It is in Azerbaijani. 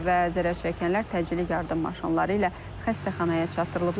Və zərərçəkənlər təcili yardım maşınları ilə xəstəxanaya çatdırılıblar.